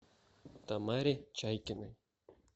тамаре чайкиной